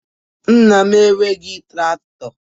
Nna m enweghị traktọ